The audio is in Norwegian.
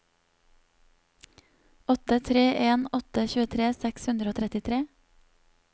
åtte tre en åtte tjuetre seks hundre og trettitre